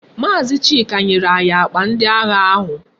Maazi Chika nyere anyi akpa ndi agha ahu